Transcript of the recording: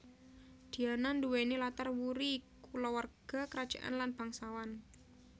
Diana nduwèni latar wuri kulawarga krajaan lan bangsawan